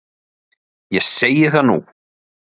Ég segi það nú!